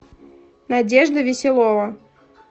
надежда веселова